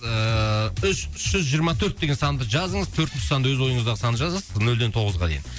ыыы үш үш жүз жиырма төрт деген санды жазыңыз төртінші санды өз ойыныздағы санды жазасыз нөлден тоғызға дейін